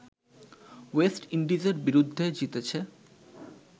West ইন্ডিজের বিরুদ্ধে জিতেছে